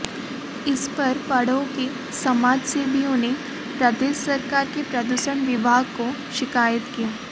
इस पर पंडोह के समाजसेवियों नेे प्रदेश सरकार के प्रदूषण विभाग को शिकायत की